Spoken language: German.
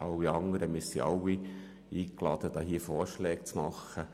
Wir alle sind dazu eingeladen, hier Vorschläge zu unterbreiten.